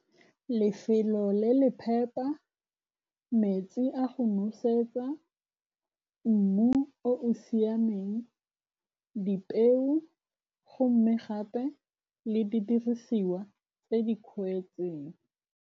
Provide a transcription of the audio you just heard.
Lefelo le le phepa, metsi a go nosetsa, mmu o o siameng, dipeo go mme gape le di dirisiwa tse di .